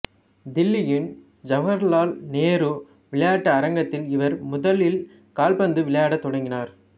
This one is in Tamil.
தில்லியின் ஜவகர்லால் நேரு விளையாட்டு அரங்கத்தில் இவர் முதலில் கால்பந்து விளையாடத் தொடங்கினார்